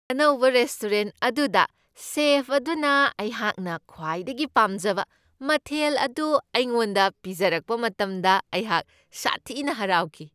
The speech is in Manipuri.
ꯑꯅꯧꯕ ꯔꯦꯁꯇꯨꯔꯦꯟ ꯑꯗꯨꯗ ꯆꯦꯐ ꯑꯗꯨꯅ ꯑꯩꯍꯥꯛꯅ ꯈ꯭ꯋꯥꯏꯗꯒꯤ ꯄꯥꯝꯖꯕ ꯃꯊꯦꯜ ꯑꯗꯨ ꯑꯩꯉꯣꯟꯗ ꯄꯤꯖꯔꯛꯄ ꯃꯇꯝꯗ ꯑꯩꯍꯥꯛ ꯁꯊꯤꯅ ꯍꯔꯥꯎꯈꯤ ꯫